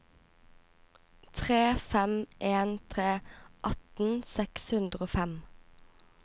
tre fem en tre atten seks hundre og fem